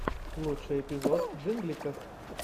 лучший эпизод джингликов